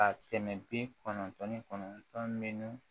Ka tɛmɛ bi kɔnɔntɔn ni kɔnɔntɔn minnu